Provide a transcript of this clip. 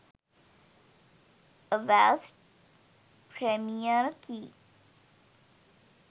avast premier key